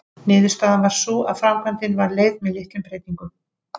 Niðurstaðan varð sú að framkvæmdin var leyfð með litlum breytingum.